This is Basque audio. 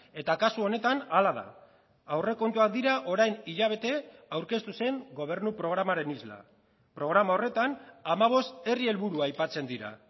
eta kasu honetan hala da aurrekontuak dira orain hilabete aurkeztu zen gobernu programaren isla programa horretan hamabost herri helburua aipatzen dira